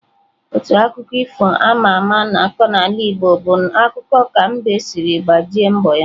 Otu akụkọ ifo ama ama a na-akọ n'ala Igbo bụ akụkọ ka mbe siri gbajie mgbọ ya.